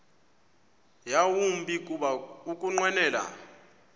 yawumbi kuba ukunqwenela